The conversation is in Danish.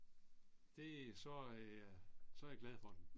Det så er jeg, så er jeg glad for den